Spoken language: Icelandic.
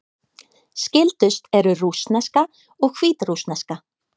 Skyldust eru rússneska og hvítrússneska.